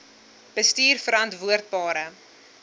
bestuurverantwoordbare